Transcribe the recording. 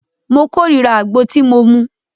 Mó kòrira àgbo tí mo mú.